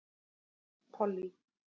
Pollý